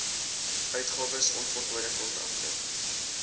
uitgawes onvoltooide kontrakte